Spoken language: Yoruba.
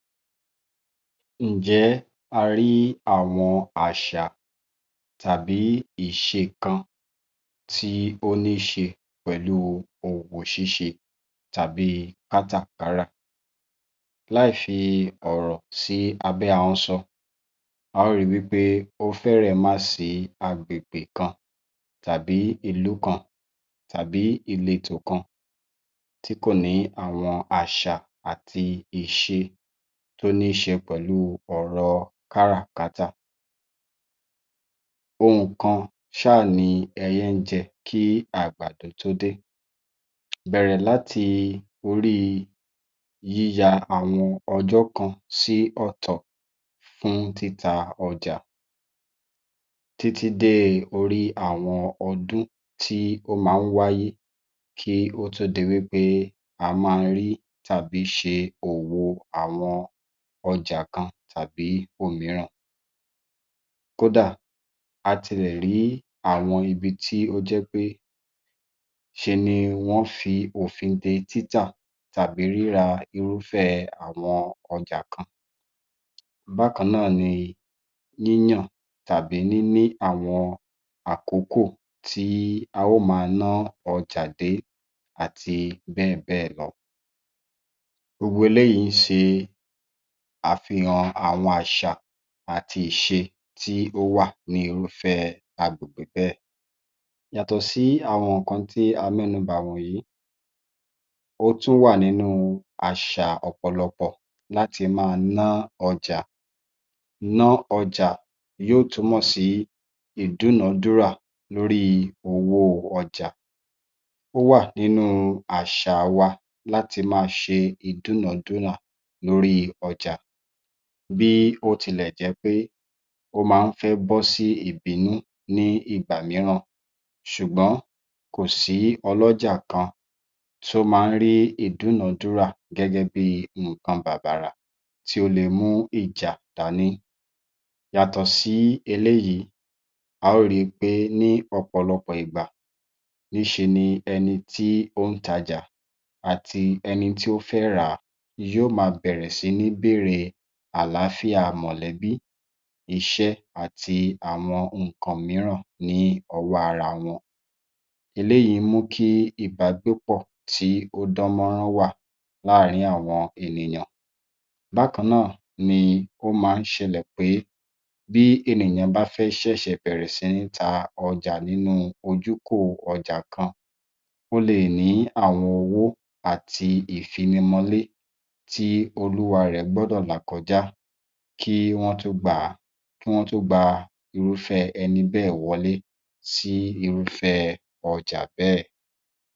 Ǹjẹ́ a rí àwọn àṣà tàbí ìṣe kan tí ó ní í se pẹ̀lú òwò ṣíṣe tàbí kátàkárà? Láì fi ọ̀rò sí abẹ́ ahọ́n sọ, a á ri wí pé ó fẹ́rẹ̀ máà sí agbègbè kan tàbí ìlú kan tàbí ìletò kan tí kò ní àwọn àṣà àti ìṣe tó ní í ṣe pẹ̀lú ọ̀rọ̀ káràkátà. Ohun kan ṣáà ni ẹyẹ ń jẹ kí àgbàdo tó dé, bẹ̀rẹ̀ láti orí yíya àwọn ọjọ́ kan sí ọ̀tọ̀ fún títa ọjà títí dé orí àwọn ọdún tí ó máa ń wáyé kí ó tó di wí pé a máa rí tàbí ṣe òwò àwọn ọjà kan tàbí òmíràn. Kódà, a tilẹ̀ rí àwọn ibi tí ó jẹ́ pé ṣe ni wọ́n fi òfin de títà tàbí ríra irúfẹ́ àwọn ọjà kan. Bákan náà ni yíyàn tàbí níní àwọn àkókò tí a óò máa ná ọjà dé àti bẹ́ẹ̀ bẹ́ẹ̀ lọ. Gbogbo eléyìí ń ṣe àfihàn àwọn àṣà àti ìṣe tí ó wà ní irúfẹ́ agbègbè bẹ́ẹ̀. Yàtọ̀ sí àwọn nǹkan tí a mẹ́nu bà wọ̀nyìí, ó tún wà nínú àṣà ọ̀pọ̀lọpọ̀ láti máa ná ọjà; ná ọjà yóò túmọ̀ sí ìdúnà-dúrà lórí owó ọjà. Ó wà nínú àṣà wa láti máa ṣe ìdúnà-dúnà lórí ọjà, bí ó tilẹ̀ jẹ́ pé ó máa ń fẹ́ bọ́ sí ìbínú ní ìgbà mìíràn, ṣùgbọ́n kòsí ọlọ́jà kan tí ó máa ń rí ìdúnà-dúra gẹ́gẹ́ bí i nǹkan bàbàrà tí ó le mú ìjà dání. Yàtọ̀ sí eléyìí, a ó ri pé ní ọ̀pọ̀lọpọ̀ ìgbà, níṣe ni ẹni tí ó ń tajà àti ẹni tí ó fẹ́ rà á yóò máa bẹ̀rẹ̀ sí ní bèèrè àláfíà mọ̀lẹ́bí, iṣẹ́ àti àwọn nǹkan mìíràn ní ọwọ́ ara wọn, eléyìí mú kí ìbágbépọ̀ tí ó dán mọ́rán wà láàárín àwọn ènìyàn. Bákan náà ni ó máa ń ṣẹlẹ̀ pé bí ènìyàn bá fẹ́ ṣẹ̀ṣẹ̀ bẹ̀rẹ̀ sí ní ta ọjà nínú ojúkò ọjà kan, ó le è ní àwọn owó àti ìfinimọlé tí olúwarẹ̀ gbọ́dọ̀ là kọjá kí wọ́n tó gba irúfẹ́ ẹni bẹ́ẹ̀ wolé sí irúfẹ́ ọjà bẹ́ẹ̀.